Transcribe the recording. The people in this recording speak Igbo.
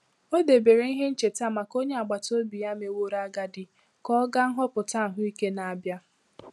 Ọ debere ihe ncheta maka onye agbata obi ya meworo agadi ka ọ gaa nhọpụta ahụike na-abịa.